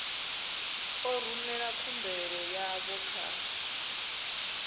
ḓo rumela khumbelo yavho kha